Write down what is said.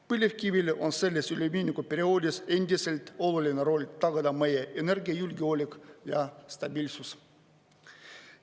Põlevkivil on selles üleminekuperioodis endiselt oluline roll tagada meie energiajulgeolek ja stabiilsus.